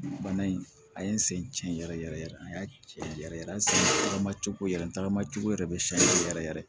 Bana in a ye n sen ci n yɛrɛ yɛrɛ cɛ yɛrɛ sen ta ma cogo yɛrɛ n tagamacogo yɛrɛ bɛ siɲɛ yɛrɛ yɛrɛ yɛrɛ